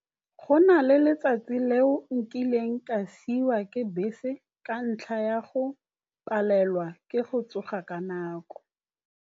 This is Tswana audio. Go na le letsatsi leo nkileng ka siwa ke bese ka ntlha ya go palelwa ke go tsoga ka nako.